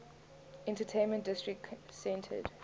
entertainment district centered